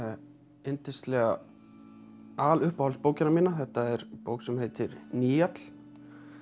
yndislega aluppáhaldsbókina mína þetta er bók sem heitir Nýall